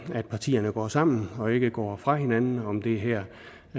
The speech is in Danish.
at partierne går sammen og ikke går fra hinanden om det her